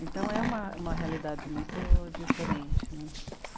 Então é uma, uma realidade muito diferente né.